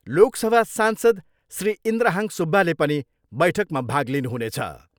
लोकसभा सांसद श्री इन्द्रहाङ सुब्बाले पनि बैठकमा भाग लिनुहुनेछ।